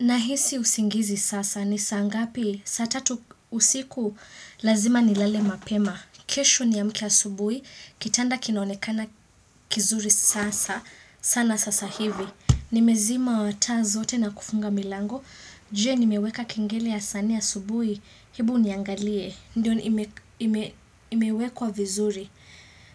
Nahisi usingizi sasa ni saa ngapi, saa tatu usiku lazima ni lale mapema. Kesho niamke ya asubui, kitanda kinaonekana kizuri sasa, sana sasa hivi. Nimezima taa zote na kufunga milango, je nimeweka kengele ya sa nne asubui, hebu niangalie, ndio imewekwa vizuri.